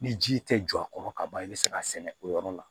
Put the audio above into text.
Ni ji tɛ jɔ a kɔrɔ ka ban i bɛ se k'a sɛnɛ o yɔrɔ la